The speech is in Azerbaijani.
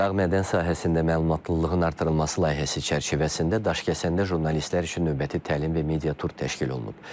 Dağ mədən sahəsində məlumatlılığın artırılması layihəsi çərçivəsində Daşkəsəndə jurnalistlər üçün növbəti təlim və media tur təşkil olunub.